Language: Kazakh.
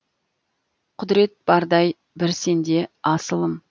құдірет бардай бір сенде асылым